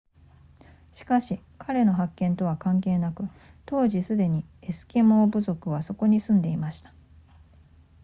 しかし彼の発見とは関係なく当時すでにエスキモー部族はそこに住んでいました